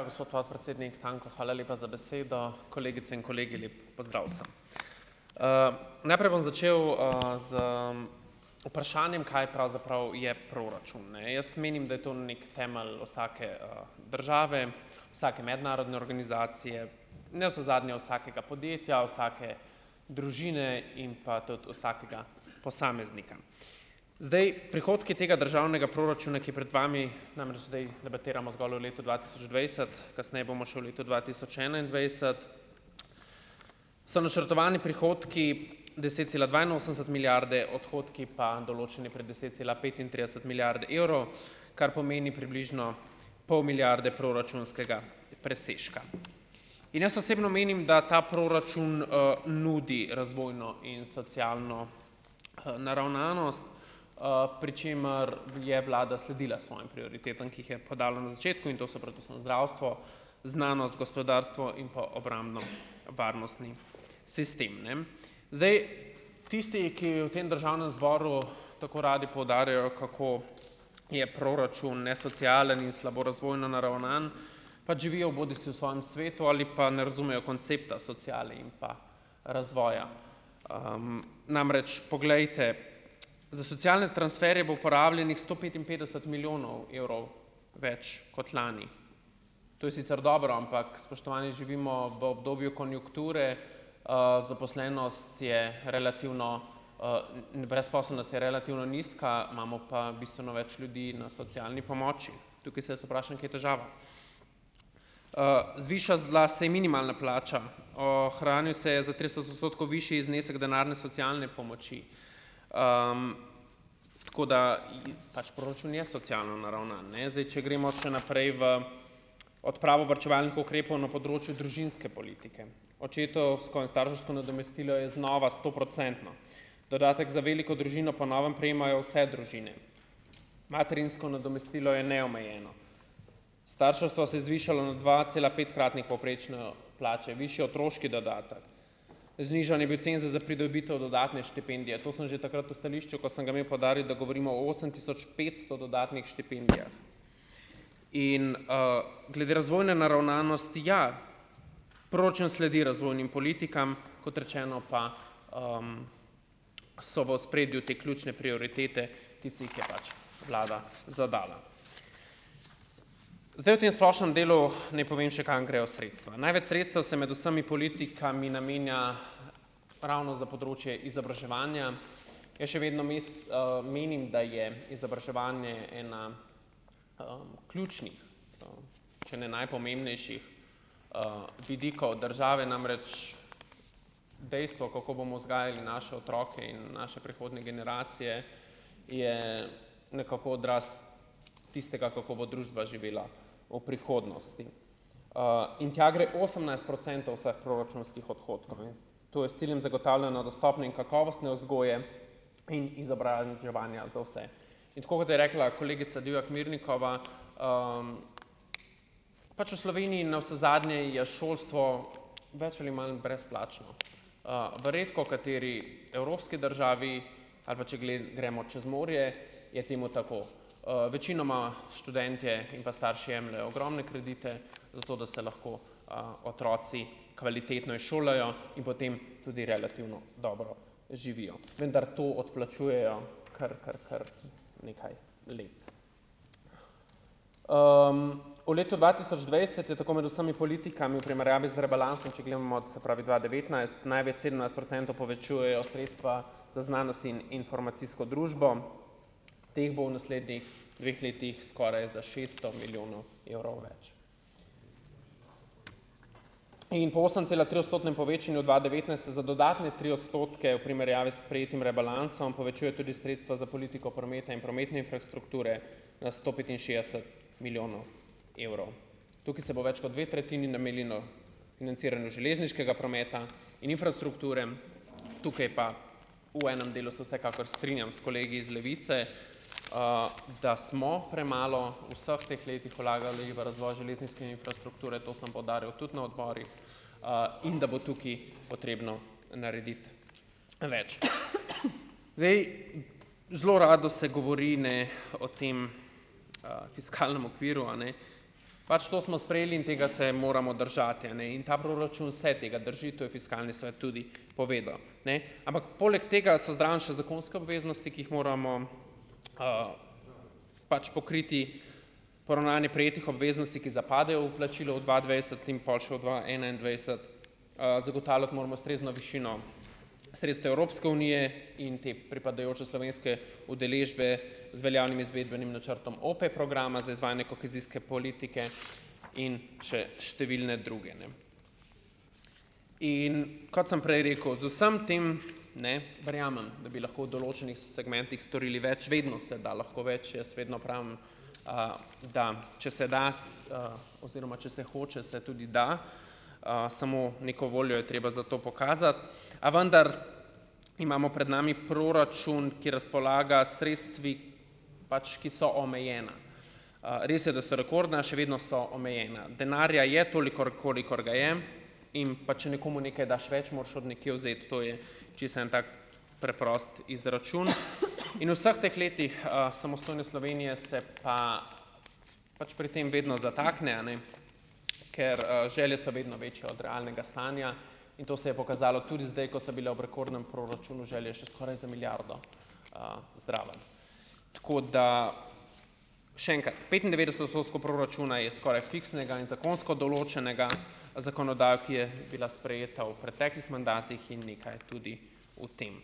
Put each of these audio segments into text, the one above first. Ja, gospod podpredsednik Tanko, hvala lepa za besedo. Kolegice in kolegi, lep pozdrav vsem. najprej bom začel z vprašanjem, kaj pravzaprav je proračun, ne. Jaz menim, da je to neki temelj vsake države, vsake mednarodne organizacije, navsezadnje vsakega podjetja, vsake družine in pa tudi vsakega posameznika. Zdaj, prihodki tega državnega proračuna, ki je pred vami, namreč zdaj zgolj debatiramo o letu dva tisoč dvajset, kasneje bomo še o letu dva tisoč enaindvajset, so načrtovani prihodki deset cela dvainosemdeset milijarde, odhodki pa pred deset cela petintrideset milijarde evrov, kar pomeni približno pol milijarde proračunskega presežka. In jaz osebno menim, da ta proračun nudi razvojno in socialno naravnanost, pri čemer je Vlada sledila svojim prioritetam, ki jih je podalo na začetku, in to so predvsem zdravstvo, znanost, gospodarstvo in pa obrambno- varnostni sistem, ne. Zdaj, tisti, ki v tem državnem zboru tako radi poudarjajo, kako je proračun nesocialen in slabo razvojno naravnan, pač živijo bodisi v svojem svetu ali pa ne razumejo koncepta sociale in pa razvoja. namreč, poglejte. Za socialne transferje bo porabljenih sto petinpetdeset milijonov evrov več kot lani. To je sicer dobro, ampak, spoštovani, živimo v obdobju konjunkture, zaposlenost je relativno brezposelnost je relativno nizka, imamo pa bistveno več ljudi na socialni pomoči. Tukaj se jaz vprašam, kje težava? zvišala se je minimalna plača. Ohranil se je za trideset odstotkov višji znesek denarne socialne pomoči. tako, da pač proračun je socialno naravnan, ne. Zdaj, če gremo še naprej v odpravo varčevalnih ukrepov na področju družinske politike. Očetovsko in starševsko nadomestilo je znova stoprocentno. Dodatek za veliko družino po novem prejemajo vse družine. Materinsko nadomestilo je neomejeno . Starševstvo se je zvišalo na dva cela petkratnik povprečno plače, višji otroški dodatek, znižan je bil cenzus za pridobitev dodatne štipendije. To sem že takrat v stališču, ko sem ga imel, poudaril, da govorimo o osem tisoč petsto dodatnih štipendijah . In, glede razvojne naravnanosti, ja, proračun sledi razvojnim politikam, kot rečeno pa so v ospredju te ključne prioritete, ki si jih je pač Vlada zadala. Zdaj, v tem splošnem delu naj povem še, kam grejo sredstva. Največ sredstev se med vsemi politikami namenja ravno za področje izobraževanja. Jaz še vedno menim, da je izobraževanje ena ključnih, če ne najpomembnejših vidikov države . Namreč, dejstvo, kako bomo vzgajali naše otroke in naše prihodnje generacije je nekako odraz tistega, kako bo družba živela v prihodnosti. in tja gre osemnajst procentov vseh proračunskih odhodkov, ne. To je s ciljem zagotovljeno dostopne in kakovostne vzgoje in izobraževanja za vse. In tako kot je rekla kolegica Divjak Mirnikova, pač v Sloveniji navsezadnje je šolstvo več ali manj brezplačno. v redkokateri evropski državi, ali pa če gremo čez morje, je temu tako. večinoma študentje in pa starši jemljejo ogromne kredite, zato da se lahko otroci kvalitetno izšolajo in potem tudi relativno dobro živijo. Vendar to odplačujejo kar, kar, kar nekaj let. v letu dva tisoč dvajset je tako med vsemi politikami v primerjavi z rebalansom, če gledamo, se pravi dva devetnajst, največ sedemnajst procentov povečujejo sredstva za znanost in informacijsko družbo. Teh bo v naslednjih dveh letih skoraj za šeststo milijonov evrov več. In po osem cela tri odstotnem povečanju dva devetnajst se za dodatne tri odstotke, v primerjavi s sprejetim rebalansom, povečuje tudi sredstva za politiko prometa in prometne infrastrukture na sto petinšestdeset milijonov evrov. Tukaj se bo več kot dve tretjini namenilo financiranju železniškega prometa in infrastrukture, tukaj pa v enem delu se vsekakor strinjam s kolegi iz Levice, da smo premalo vseh teh letih vlagali v razvoj železniške infrastrukture , to sem poudaril tudi na odborih, in da bo tukaj potrebno narediti več. Zdaj, zelo rado se govori, ne, o tem fiskalnem okviru, a ne. Pač to smo sprejeli in tega se moramo držati, a ne, in ta proračun se tega drži, to je Fiskalni svet tudi povedal. Ne. Ampak, poleg tega so zraven še zakonske obveznosti, ki jih moramo, pač pokriti poravnanje prejetih obveznosti, ki zapadejo v plačilo v dva dvajset in pol še v dva enaindvajset. zagotavljati moramo ustrezno višino sredstev Evropske unije in te pripadajoče slovenske udeležbe z veljavnim izvedbenim načrtom OPE programa z izvajanjem kohezijske politike in še številne druge, ne. In, kot sem prej rekel, z vsem tem, ne, verjamem, da bi lahko v določenih segmentih storili več, vedno se da lahko več, jaz vedno pravim, da če se da oziroma če se hoče, se tudi da. samo neko voljo je treba za to pokazati. A vendar imamo pred nami proračun, ki razpolaga sredstvi pač, ki so omejena. res je, da so rekordna, še vedno so omejena. Denarja je tolikor, kolikor ga je, in pa če nekomu nekaj daš več, moraš od nekje vzeti. To je čisto en tak preprost izračun in vseh teh letih samostojne Slovenije se pa pač pri tem vedno zatakne, a ne, ker želje so vedno večje od realnega stanja, in to se je pokazalo tudi zdaj, ko so bile ob rekordnem proračunu želje še skoraj za milijardo zraven . Tako, da še enkrat. Petindevetdeset odstotkov proračuna je skoraj fiksnega in zakonsko določenega v zakonodajo, ki je bila sprejeta v preteklih mandatih, in je nekaj tudi v tem.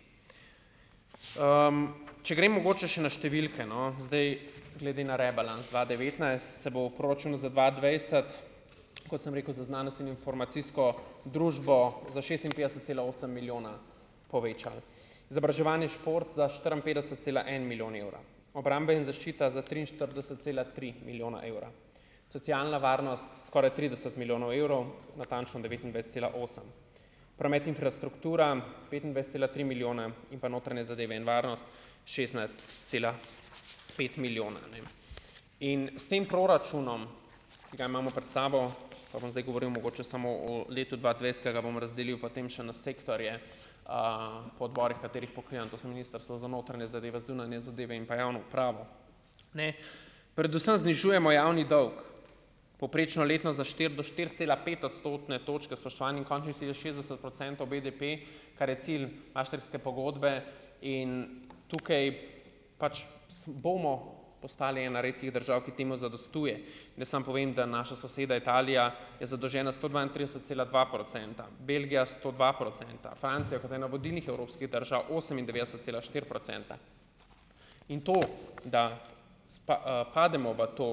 če grem mogoče še na številke, no, zdaj glede na rebalans dva devetnajst se bo v proračunu za dva dvajset, kot sem rekel, za znanost in informacijsko družbo za šestinpetdeset cela osem milijona povečal. Za izobraževanje, šport za štiriinpetdeset cela en milijon evra. Obrambe in zaščita za triinštirideset cela tri milijona evra. Socialna varnost skoraj trideset milijonov evrov, natančno devetindvajset cela osem. Promet, infrastruktura petindvajset cela tri milijona in pa notranje zadeve in varnost šestnajst cela pet milijona, a ne. In s tem proračunom, ki ga imamo pred sabo , pa bom zdaj mogoče govoril samo o letu dva dvajset, ki ga bom razdelil potem še na sektorje, po odborih, katerih pokrivam, to so Ministrstvo za notranje zadeve, zunanje zadeve in pa javno upravo, ne. Predvsem znižujemo javni dolg. Povprečno letno za štiri do štiri cela pet odstotne točke, spoštovani, in končni cilja šestdeset procentov BDP, kar je cilj Maastrichtske pogodbe, in tukaj pač bomo postali ena redkih držav, ki temu zadostuje. Jaz samo povem, da naša soseda Italija je zadolžena sto dvaintrideset cela dva procenta, Belgija sto dva procenta, Francija, kot ena vodilnih evropskih držav, osemindvajset cela štiri procenta. In to , da pademo v to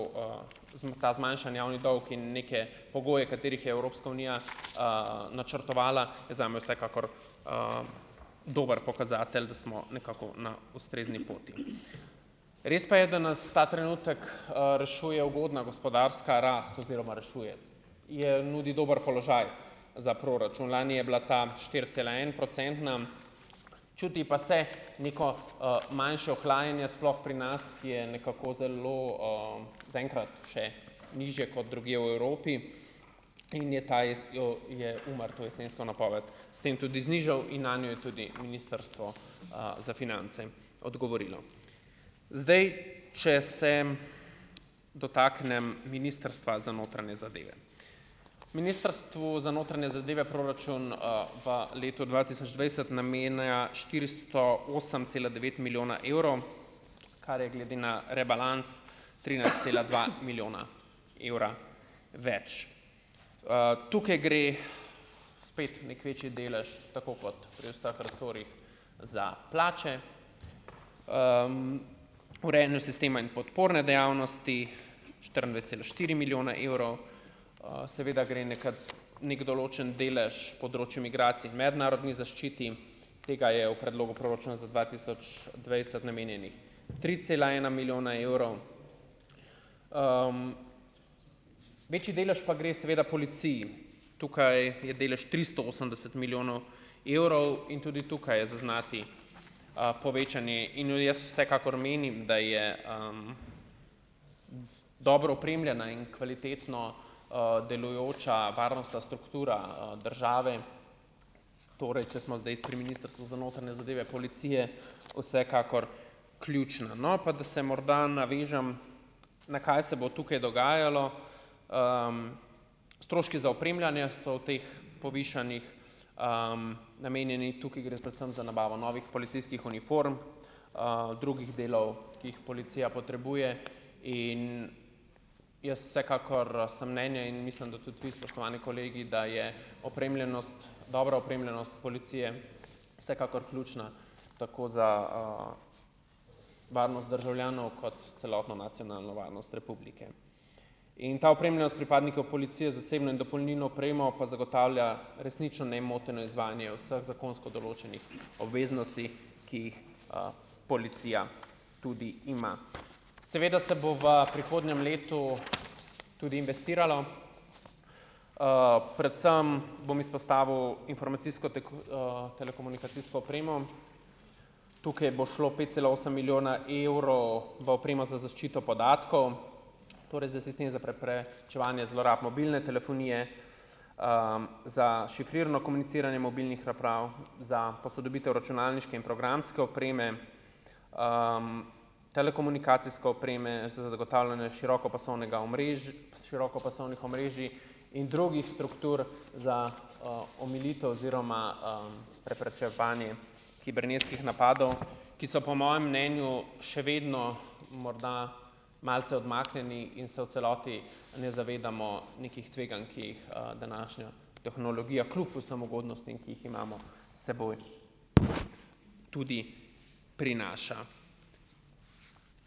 ta zmanjšani javni dolg in neke pogoje, katerih Evropska unija načrtovala, je zame vsekakor dober pokazatelj, da smo nekako na ustrezni poti . Res pa je, da nas ta trenutek rešuje ugodna gospodarska rast oziroma rešuje, nudi dober položaj za proračun. Lani je bila ta štiri cela en procentna, čuti pa se neko manjše ohlajanje sploh pri nas , ki je nekako zelo zaenkrat še nižje kot drugje v Evropi, in je ta je UMAR to jesensko napoved s tem tudi znižal in nanjo je tudi Ministrstvo za finance odgovorilo. Zdaj, če se dotaknem Ministrstva za notranje zadeve. Ministrstvu za notranje zadeve proračun v letu dva tisoč dvajset namenja štiristo osem cela devet milijona evrov, kar je glede na rebalans trinajst cela dva milijona evra več. tukaj gre spet neki večji delež tako kot pri vseh resorjih za plače. urejanju sistema in podporne dejavnosti štiriindvajset cela štiri milijone evrov, seveda gre , neki določen delež področju migracij in mednarodni zaščiti, tega je v predlogu proračuna za dva tisoč dvajset namenjenih tri cela ena milijona evrov. večji delež pa seveda gre policiji. Tukaj je delež tristo osemdeset milijonov evrov in tudi tukaj je zaznati povečanje in jaz vsekakor menim , da je dobro opremljena in kvalitetno delujoča varnostna struktura države, torej, če smo zdaj pri Ministrstvu za notranje zadeve , policije, vsekakor ključno. No, pa da se morda navežem na, kaj se bo tukaj dogajalo. stroški za opremljanje so v teh povišanjih namenjeni, tudi gre predvsem za nabavo novih policijskih uniform, drugih delov, ki jih policija potrebuje, in jaz vsekakor sem mnenja in mislim, da tudi vi, spoštovani kolegi, da je opremljenost, dobra opremljenost policije vsekakor ključna, tako za varnost državljanov kot celotno nacionalno varnost Republike. In ta opremljenost pripadnikov policije z osebno in dopolnilno opremo pa zagotavlja resnično nemoteno izvajanje vseh zakonsko določenih obveznosti, ki jih policija tudi ima. Seveda se bo v prihodnjem letu tudi investiralo . predvsem bom izpostavil informacijsko telekomunikacijsko opremo , tukaj bo šlo pet cela osem milijona evrov v opremo za zaščito podatkov, torej za sistem za čevanje zlorab mobilne telefonije, za šifrirno komuniciranje mobilnih naprav, za posodobitev računalniške in programske opreme, telekomunikacijske opreme za zagotavljanje širokopasovnega širokopasovnih omrežij in drugih struktur za omilitev oziroma preprečevanje kibernetskih napadov , ki so po mojem mnenju še vedno morda malce odmaknjeni in se v celoti ne zavedamo nekih tveganj, ki jih današnja tehnologija kljub vsem ugodnostim, ki jih imamo, seboj tudi prinaša.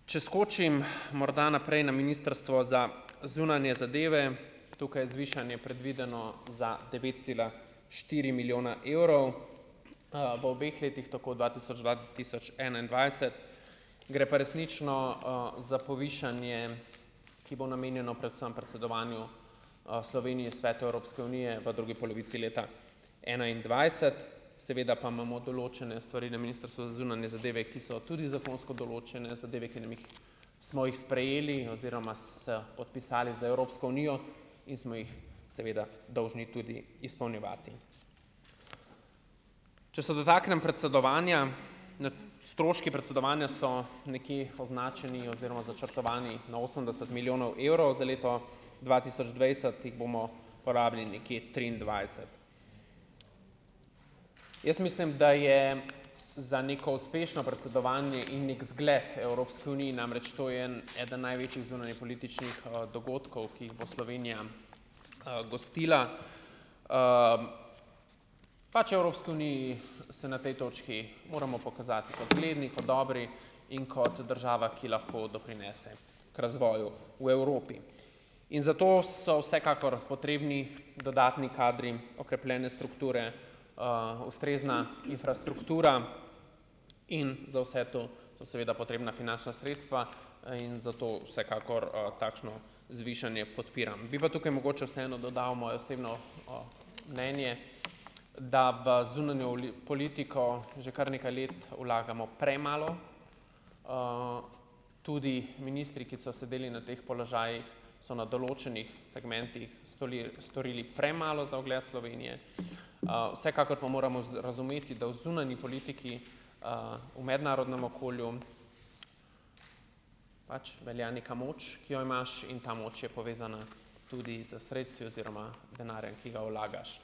Če skočim, morda naprej na Ministrstvo za zunanje zadeve, tukaj je zvišanje predvideno za devet cela štiri milijona evrov v obeh letih, tako dva dva tisoč enaindvajset, gre pa resnično za povišanje, ki bo namenjeno predvsem predsedovanju Slovenije Svetu Evropske unije v drugi polovici leta enaindvajset, seveda pa imamo določene stvari na Ministrstvu za zunanje zadeve, ki so tudi zakonsko določene zadeve, ki nam jih , smo jih sprejeli oziroma podpisali z Evropsko unijo in smo jih seveda dolžni tudi izpolnjevati. Če se dotaknem predsedovanja, stroški predsedovanja so nekje označeni oziroma načrtovani na osemdeset milijonov evrov, za leto dva tisoč dvajset jih bomo porabili nekje triindvajset. Jaz mislim, da je za neko uspešno predsedovanje in neki zgled Evropski uniji, namreč to je en, eden največjih zunanjepolitičnih dogodkov, ki jih bo Slovenija gostila . pač Evropski uniji se na tej točki moramo pokazati kot zgledi , kot dobri in kot država, ki lahko doprinese k razvoju v Evropi. In zato so vsekakor potrebni dodatni kadri, okrepljene strukture, ustrezna infrastruktura in za vse to so seveda potrebna finančna sredstva in zato vsekakor takšno zvišanje podpiram. Bi pa tukaj mogoče vseeno dodal mojo osebno mnenje, da v zunanjo ali že kar nekaj let vlagamo premalo tudi ministri, ki so sedeli na teh položajih, so na določenih segmentih storili premalo za ugled Slovenije, vsekakor pa moramo razumeti, da v zunanji politiki v mednarodnem okolju pač velja neka moč, ki jo imaš, in ta moč je povezana tudi s sredstvi oziroma denarja, ki ga vlagaš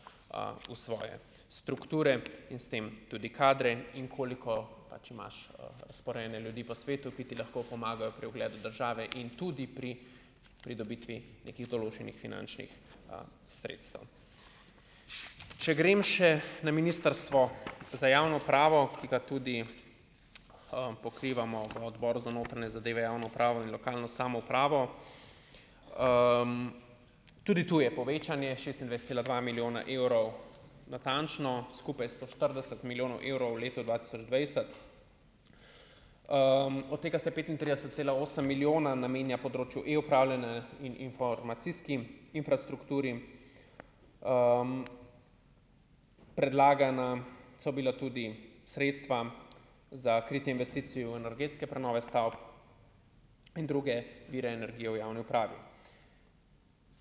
v svoje strukture in s tem tudi kadre, in koliko pač imaš razporejene ljudi po svetu, ki ti lahko pomagajo pri ugledu države in tudi pri pridobitvi nekih določenih finančnih sredstev. Če grem še na Ministrstvo za javno upravo, ki ga tudi pokrivamo v Odboru za notranje zadeve, javno upravo in lokalno samoupravo. tudi to je povečanje šestindvajset cela dva milijona evrov natančno, skupaj sto štirideset milijonov evrov v letu dva tisoč dvajset. od tega se petintrideset cela osem milijona namenja na področju e upravljanja informacijskim infrastrukturi. predlagana so bila tudi sredstva za kritje investicij v energetske prenove stavb in druge vire energije v javni upravi.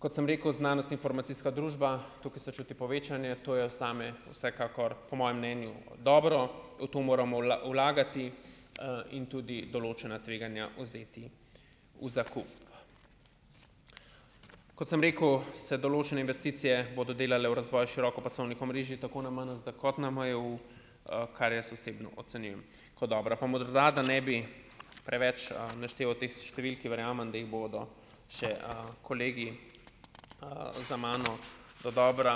Kot sem rekel, znanost, informacijska družba, tukaj se čuti povečanje, to je zame vsekakor po mojem mnenju dobro, v to moramo vlagati in tudi določena tveganja vzeti v zakup. Kot sem rekel, se določene investicije bodo delale v razvoj širokopasovnih omrežij tako na MNZ kot na MJU, kar jaz osebno ocenjujem kot dobra. Pa morda, da ne bi preveč našteval teh številk, ki verjamem, da jih bodo še kolegi za mano dodobra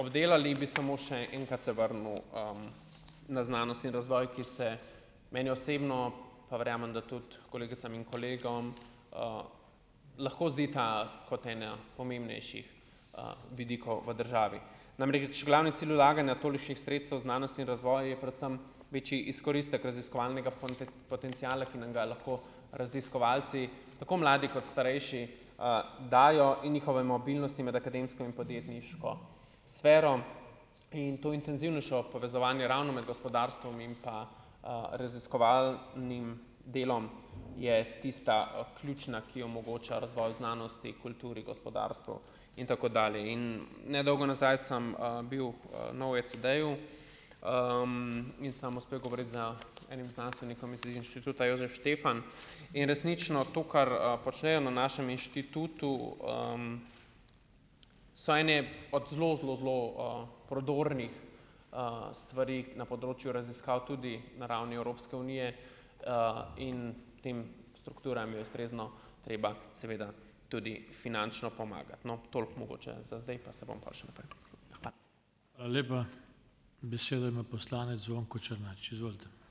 obdelali, bi samo še enkrat se vrnil na znanost in razvoj, ki se meni osebno, pa verjamem, da tudi kolegicam in kolegom, lahko zdita kot ena pomembnejših vidikov v državi. Namreč, glavni cilj vlaganja tolikšnih sredstev znanosti in razvoj je predvsem večji izkoristek raziskovalnega potenciala, ki nam ga lahko raziskovalci, tako mladi kot starejši, dajo in njihove mobilnosti med akademsko in podjetniško sfero. In to intenzivnejše povezovanje ravno med gospodarstvom in pa raziskovalnim delom je tista ključna, ki omogoča razvoj znanosti, kulturi, gospodarstvu in tako dalje. In ne dolgo nazaj sem bil nov ECEDE-ju, in sem uspel govoriti z enim znanstvenikom z Inštituta Jožef Štefan in resnično to, kar počnejo na našem inštitutu so ene od zelo, zelo, zelo prodornih stvari na področju raziskav, tudi na ravni Evropske unije in tem strukturam je ustrezno treba seveda tudi finančno pomagati. No, toliko mogoče za zdaj, pa se bom pol še naprej. Hvala. Hvala lepa. Besedo ima poslanec Zvonko Černač, izvolite.